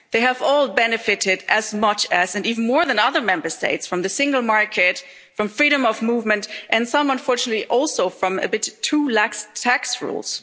again. They have all benefited as much as and even more than other Member States from the single market, from freedom of movement and some, unfortunately, also from a bit too lax tax